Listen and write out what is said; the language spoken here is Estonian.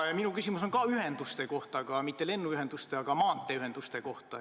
Minu küsimus on ka ühenduste kohta, aga mitte lennuühenduste, vaid maanteeühenduste kohta.